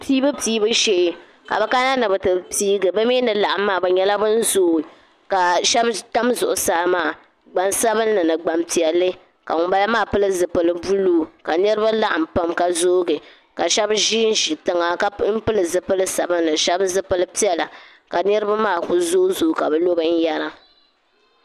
Piibu piibu shee ka bi kana ni bi ti piigi bi ni laɣim maa bi nyɛla bin zooyi ka shɛba tam zuɣusaa maa gbansabinli ni gbanpiɛlli ka ŋun bala maa pili zipili buluu ka niriba laɣim pam ka zoogi ka shɛba ʒi n ʒi tiŋa ka pili zipili sabinli shɛba zipili piɛla ka niriba maa ku zooyi zooyi ka bi lo bin yara.